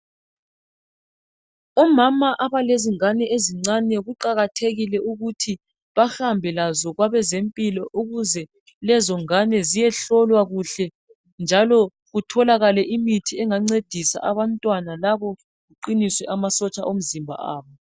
Omama abalezingane ezincane kuqakathekile ukuthi bahambe lazo kwabezempilo ukuze ziyohlolwa kuhle, njalo kutholakale imithi yokuqinisa amasotsha omzimba wazo.